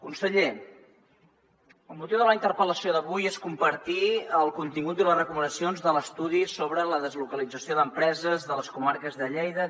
conseller el motiu de la interpel·lació d’avui és compartir el contingut i les recomanacions de l’estudi sobre la deslocalització d’empreses de les comarques de lleida